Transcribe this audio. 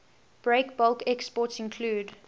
breakbulk exports include